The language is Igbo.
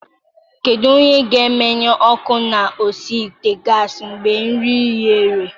Kedu onye ga-emenyụ ọkụ na osi ite gasị mgbe nri ghere?